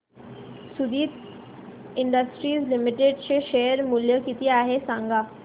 Suditi industries limited चे share मूल्य किती आहे सांगा